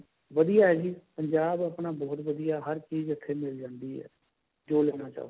ਵਧੀਆ ਹੈ ਜੀ ਪੰਜਾਬ ਆਪਣਾ ਬਹੁਤ ਵਧੀਆ ਹੈ ਹਰ ਚੀਜ ਇੱਥੇ ਮਿਲ ਜਾਂਦੀ ਹੈ ਜੋ ਲੇਣਾ ਚਾਹੋ